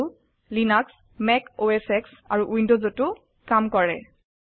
এইটো Linux Mac OS X আৰু উইন্ডোজটো কাম কৰে